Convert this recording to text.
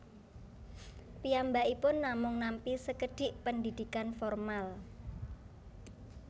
Piyambakipun namung nampi sekedhik pendidikan formal